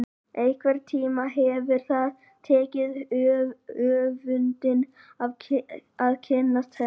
Einhvern tíma hefur það tekið höfundinn að kynnast henni.